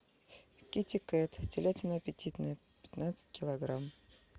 китикет телятина аппетитная пятнадцать килограмм